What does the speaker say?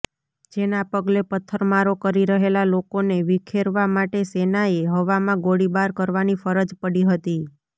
જેના પગલે પથ્થરમારો કરી રહેલા લોકોને વિખેરવા માટે સેનાએ હવામાં ગોળીબાર કરવાની ફરજ પડી હતી